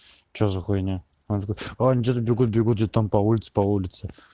что за хуйня он такой а они где-то бегут бегут где-то там по улице по улице